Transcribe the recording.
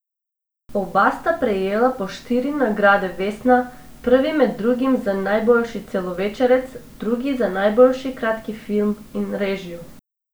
Oba sta prejela po štiri nagrade vesna, prvi med drugim za najboljši celovečerec, drugi za najboljši kratki film in režijo.